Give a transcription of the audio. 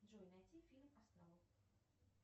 джой найти фильм астролог